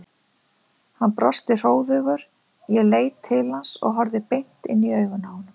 Hann brosti hróðugur, ég leit til hans og horfði beint inn í augun á honum.